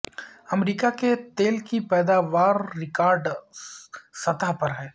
امریکہ کی تیل کی پیداوار ریکارڈ سطح پر ہے